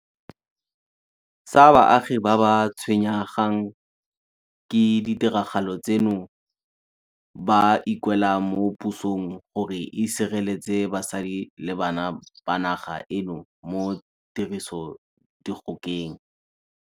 sa baagi ba ba tshwenngwang ke ditiragalo tseno ba ikuela mo pusong gore e sireletse basadi le bana ba naga eno mo tirisodikgokeng.